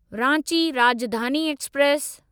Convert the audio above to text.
Ranchi Rajdhani express